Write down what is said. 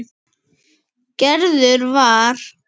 Gerður var.